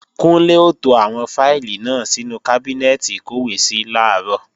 Kúnlé ó to àwọn fáìlì náà sínú kábínẹ́ẹ̀tì ìkọ́wèésí làárọ̀